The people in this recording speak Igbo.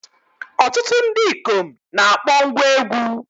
Ọtụtụ ndị ikom na-akpọ ngwá egwú.